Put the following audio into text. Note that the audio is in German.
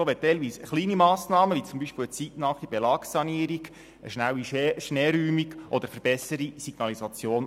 Teilweise reichen auch Kleinmassnahmen aus wie beispielsweise eine zeitnahe Belagssanierung, eine schnelle Schneeräumung oder eine Verbesserung der Signalisation.